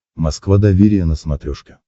москва доверие на смотрешке